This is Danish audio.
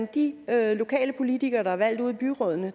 af de lokale politikere der er valgt ude i byrådene